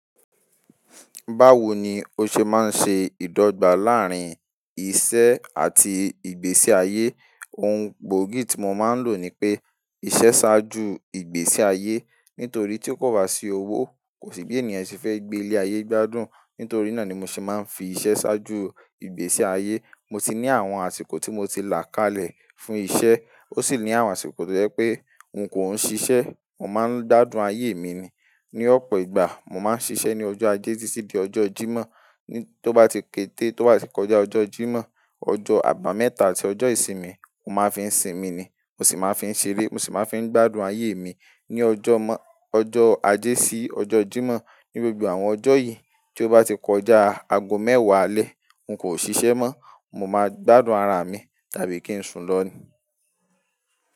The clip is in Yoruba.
Báwo ni ó ṣe máa ń ṣe ìdọ́gba láàrín iṣẹ́ àti ìgbésí ayé? Ohun gbóògì tí mo máa ń lò ni pé iṣẹ́ ṣáájú ìgbésí ayé nítorí tí kò bá sí owó kò sí bí ènìyàn ṣe fẹ́ gbé ilé ayé gbádùn. Nítorí náà ni mo ṣe máa ń fi iṣẹ́ ṣáájú ìgbésí ayé. Mo ti ní àwọn àsìkò tí mo ti là kalẹ̀ fún iṣẹ́, ó sì ní àwọn àsìkò tó jẹ́ pé n kò ń ṣiṣẹ́, mo máa ń gbádùn ayé mi ni. Ni ọ̀pọ̀ ìgbà, mo máa ń ṣiṣẹ́ ní ọjọ́ ajé títí di ọjọ́ Jímọ̀. Tí ó bá ti kété, tí ó bá ti kọjá ọjọ́ Jímọ̀, ọjọ́ àbámẹ́ta àti ọjọ́ ìsinmi, mo máa ń fi ń sinmi ni. Mo sì máa ń fi ń ṣeré, mo sì máa ń fi ń gbádùn ayé mi. Ni ọjọ́ ọjọ́ ajé sí ọjọ́ Jímọ̀, ní gbogbo àwọn ọjọ́ yìí tí ó bá ti kọjá ago mẹ́wàá alẹ́, n kò ṣiṣẹ́ mọ́. Mo máa gbádùn ara mi tàbí kí n sùn lọ ni.